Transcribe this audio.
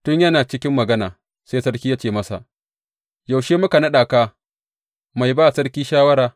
Tun yana cikin magana, sai sarki ya ce masa, Yaushe muka naɗa ka mai ba sarki shawara?